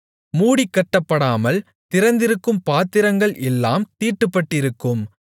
மூடிக் கட்டப்படாமல் திறந்திருக்கும் பாத்திரங்கள் எல்லாம் தீட்டுப்பட்டிருக்கும்